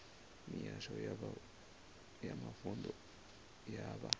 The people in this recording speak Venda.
mihasho ya mavunḓu ya vha